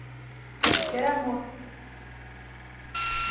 Ele quer amor.